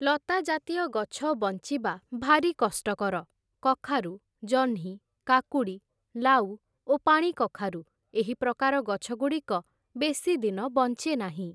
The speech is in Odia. ଲତାଜାତୀୟ ଗଛ ବଞ୍ଚିବା ଭାରି କଷ୍ଟକର । କଖାରୁ, ଜହ୍ନି, କାକୁଡ଼ି, ଲାଉ ଓ ପାଣିକଖାରୁ, ଏହିପ୍ରକାର ଗଛଗୁଡ଼ିକ ବେଶୀ ଦିନ ବଞ୍ଚେ ନାହିଁ ।